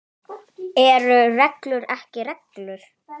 Eru reglur ekki reglur?